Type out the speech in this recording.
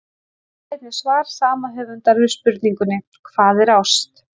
Sjá einnig svar sama höfundar við spurningunni Hvað er ást?